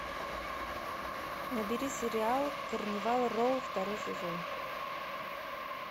набери сериал карнивал роу второй сезон